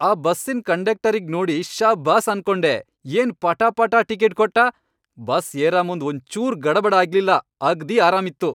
ಆ ಬಸ್ಸಿನ್ ಕಂಡಕ್ಟರಿಗ್ ನೋಡಿ ಶಬ್ಬಾಸ್ ಅನ್ಕೊಂಡೆ ಏನ್ ಪಟಾಪಟಾ ಟಿಕಿಟ್ ಕೊಟ್ಟಾ. ಬಸ್ ಏರಮುಂದ್ ಒಂಚೂರು ಗಡಬಡ ಆಗ್ಲಿಲ್ಲಾ ಅಗ್ದೀ ಆರಾಮಿತ್ತು.